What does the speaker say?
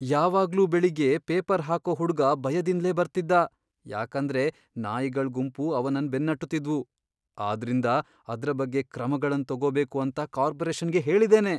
ಯಾವಾಗ್ಲೂ ಬೆಳಿಗ್ಗೆ ಪೇಪರ್ ಹಾಕೋ ಹುಡ್ಗ ಬಯದಿಂದ್ಲೇ ಬರ್ತಿದ್ದ ಯಾಕಂದ್ರೆ ನಾಯಿಗಳ್ ಗುಂಪು ಅವನನ್ ಬೆನ್ನಟ್ಟುತಿದ್ವು. ಆದ್ರಿಂದ, ಅದ್ರ ಬಗ್ಗೆ ಕ್ರಮಗಳನ್ ತಗೋಬೇಕು ಅಂತ ಕಾರ್ಪೊರೇಷನ್ಗೆ ಹೇಳಿದ್ದೇನೆ.